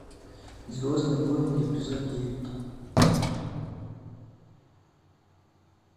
звездные войны эпизод девять